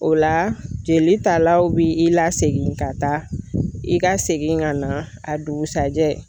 O la jeli talaw bi i lasegin ka taa i ka segin ka na a dugusajɛ